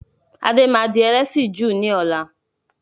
Adé máa di ẹlẹ́sìn Júù ni ọ̀la.